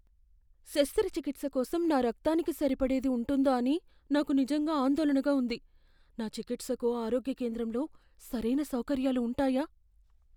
శస్త్రచికిత్స కోసం నా రక్తానికి సరిపడేది ఉంటుందా అని నాకు నిజంగా ఆందోళనగా ఉంది. నా చికిత్సకు ఆరోగ్య కేంద్రంలో సరైన సౌకర్యాలు ఉంటాయా?